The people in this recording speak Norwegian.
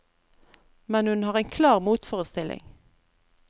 Men hun har en klar motforestilling.